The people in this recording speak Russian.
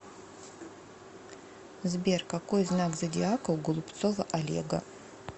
сбер какой знак зодиака у голубцова олега